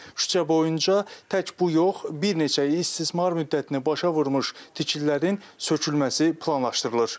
Küçə boyunca təkcə bu yox, bir neçə il istismar müddətini başa vurmuş tikililərin sökülməsi planlaşdırılır.